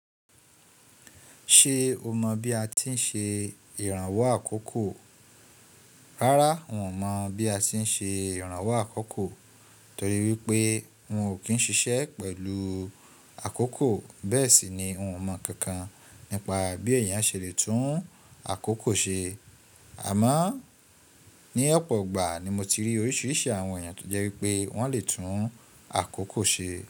Ṣé o mọ̀ bí a ti ń ṣe ìrànwọ́ àkókò? Rárá, un ò mọ̀ bí a ti ń ṣe ìrànwọ́ àkókò torí wípé un ò kí ń ṣiṣẹ́ pẹ̀lú àkókò. Bẹ́ẹ̀ sì ni, n ò mọ̀ kankan nípa bí ẹ̀yàn ṣe lè tún àkókò ṣe. Àmọ́ ní ọ̀pọ̀ ìgbà ni mo ti rí oríṣiríṣi àwọn èyàn tó jẹ́ wípé wọ́n lè tún àkókò ṣe.